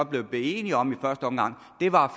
blev enige om var